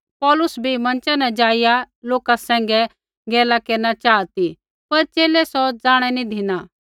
पौलुसै बी मँचा न ज़ाइया लोका सैंघै गैला केरना चाहा ती पर च़ेले सौ ज़ाणै नी धिना